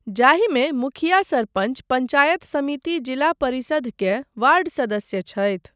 जाहिमे मुखिया सरपञ्च पञ्चायत समिति जिला परिषद के वार्ड सदस्य छथि ,